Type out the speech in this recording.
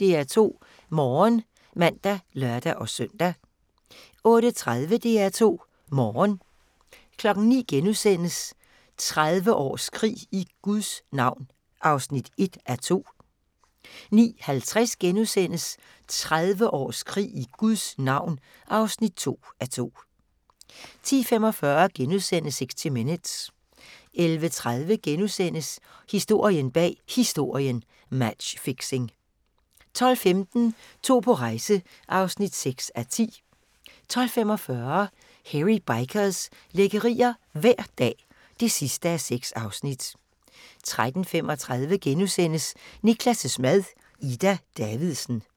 DR2 Morgen (man og lør-søn) 08:30: DR2 Morgen 09:00: 30 års krig i Guds navn (1:2)* 09:50: 30 års krig i Guds navn (2:2)* 10:45: 60 Minutes * 11:30: Historien bag Historien: Matchfixing * 12:15: To på rejse (6:10) 12:45: Hairy Bikers – lækkerier hver dag (6:6) 13:35: Niklas' mad - Ida Davidsen (5:8)*